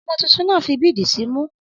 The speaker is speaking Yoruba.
Ọmọ títùn na ti fi bídì símù.